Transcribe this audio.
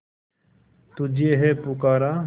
तुझे है पुकारा